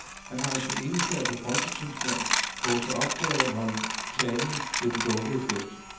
Han har i sin egenskab af folketingsformand fået til opgave at holde talen ved den lukkede fest.